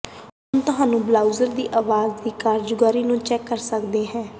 ਹੁਣ ਤੁਹਾਨੂੰ ਬਰਾਊਜ਼ਰ ਦੀ ਆਵਾਜ਼ ਦੀ ਕਾਰਗੁਜ਼ਾਰੀ ਨੂੰ ਚੈੱਕ ਕਰ ਸਕਦਾ ਹੈ